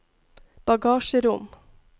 bagasjerom